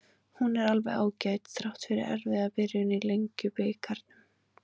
Hún er alveg ágæt, þrátt fyrir erfiða byrjun í Lengjubikarnum.